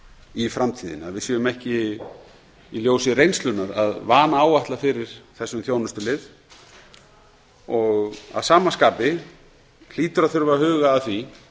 í framtíðinni að við séum ekki í ljósi reynslunnar að vanáætla fyrir þessum þjónustulið og að sama skapi hlýtur að þurfa að huga að því